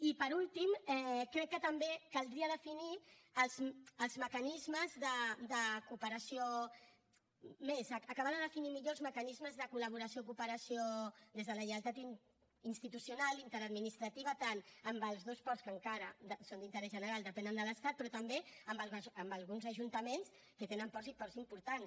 i per últim crec que també caldria definir els mecanismes de cooperació més acabar de definir millor els mecanismes de col·laboració cooperació des de la lleialtat institucional interadministrativa tant amb els dos ports que encara són d’interès general depenen de l’estat però també amb alguns ajuntaments que tenen ports i ports importants